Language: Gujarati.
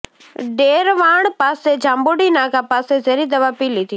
ડેરવાણ પાસે જાંબુડી નાકા પાસે ઝેરી દવા પી લીધી